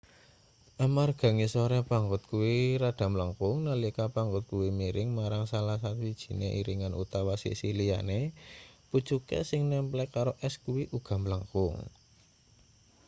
amarga ngisore pangot kuwi rada mlengkung nalika pangot kuwi miring marang salah sawijine iringan utawa sisih liyane pucuke sing nemplek karo es kuwi uga mlengkung